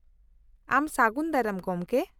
-ᱟᱢ ᱥᱟᱜᱩᱱ ᱫᱟᱨᱟᱢ , ᱜᱚᱢᱠᱮ ᱾